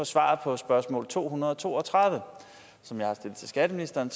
svaret på spørgsmål nummer to hundrede og to og tredive som jeg har stillet til skatteministeren